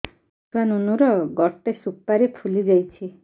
ମୋ ଛୁଆ ନୁନୁ ର ଗଟେ ସୁପାରୀ ଫୁଲି ଯାଇଛି